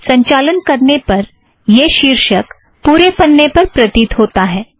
संचालन करने पर यह शीर्षक पुरे पन्ने पर प्रतीत होता है